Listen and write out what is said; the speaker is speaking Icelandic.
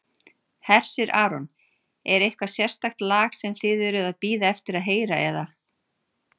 Hersir Aron: Er eitthvað sérstakt lag sem þið eruð að bíða eftir að heyra eða?